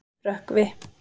Rökkvi